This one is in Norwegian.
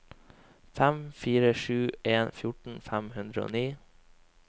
fem fire sju en fjorten fem hundre og ni